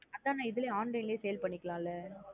அதன் நா இதுலயும் online லே sale பண்ணிகால லா?